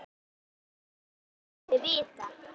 Ég vil ekkert af henni vita.